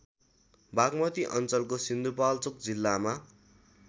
बागमती अञ्चलको सिन्धुपाल्चोक जिल्लामा